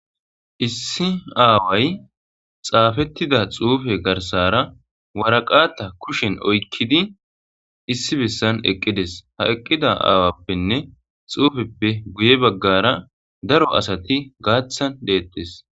Issi aaway xaafettida xuufe garsara waraqata kushen oykkidi issi bessan eqqides ha eqqida aawappenne xuufeppe guye baggara daro asati gaaththan deettes